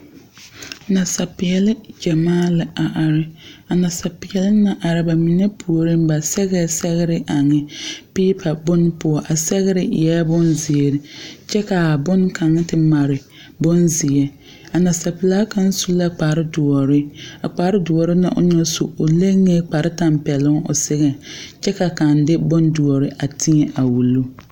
Nasapeɛle ɡyamaa la a are a nasapeɛle na are ba mine puoriŋ ba sɛɡɛɛ sɛɡre eŋ peepa bon poɔ a sɛɡre eɛ bonziiri kyɛ ka a bone kaŋa te mare bonzeɛ a nasapelaa kaŋ su la kpardoɔre a kpadoɔre na o naŋ su o leŋee kpartɜmpɛloŋ o seɛ kyɛ ka kaŋa de bonedoɔre a tēɛ a wuli .